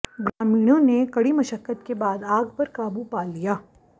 ग्रामीणों ने कड़ी मश्क्कत के बाद आग पर काबू पा लिया